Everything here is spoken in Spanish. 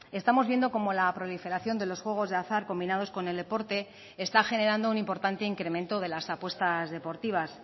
estamos viendo cómo la proliferación de los juegos de azar combinados con el deporte está generando un importante incremento de las apuestas deportivas